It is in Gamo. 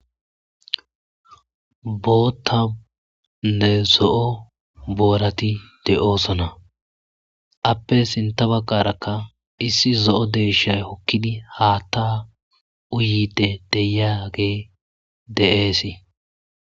Boothanne zo'o boorati de'osona ape Issi zo'o deyshayo ekidi haatha utidi de'iyagey de'esi.